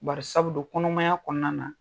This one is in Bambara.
Bari sabu don kɔnɔmaya kɔnɔna na